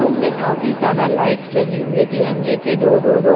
room में काफी ज्यादा लाइट्स लगी हुई हैं तिरंगे के दो दो दो--